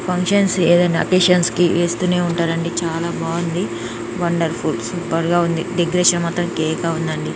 Functions ఏదైనా occasion కి వేస్తూనే ఉంటారని చాలా బాగుంది. వండర్ఫుల్ సూపర్ గా ఉంది. డెకరేషన్ మొత్తం కేక ఉంది.